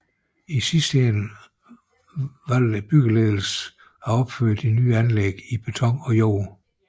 I sidste ende valgte byggeledelsen af opføre de nye anlæg i beton og jord